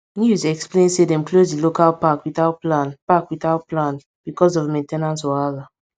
news explain say dem close di local park without plan park without plan because of main ten ance wahala